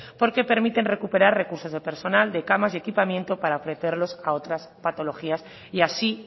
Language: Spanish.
porque permiten recuperar recursos de personal de camas y equipamiento para ofrecerlas a otras patologías y así